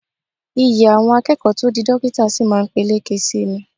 Iyì àwọn akẹ́kọ̀ọ́ tó di dókítà sí máa peléke sí í ni